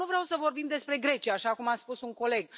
Dar nu vreau să vorbim despre Grecia, așa cum a spus un coleg.